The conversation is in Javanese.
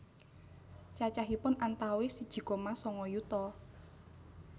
Cacahipun antawis siji koma sanga yuta